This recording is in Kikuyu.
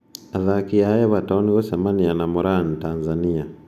Athaki a Everton gũcemania na morani Tanzania